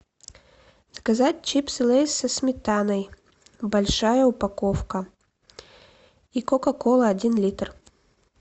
заказать чипсы лейс со сметаной большая упаковка и кока кола один литр